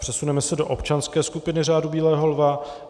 Přesuneme se do občanské skupiny Řádu bílého lva.